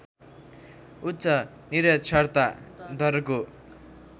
उच्च निरक्षरता दरको